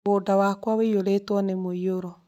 Mũgũnda wakwa ũiyũrĩtwo nĩ mũiyuro